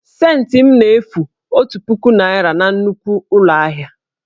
Scentị m na-efu otu puku naira na nnukwu ụlọ ahịa